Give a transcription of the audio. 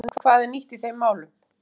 En hvað er nýtt í þeim málum?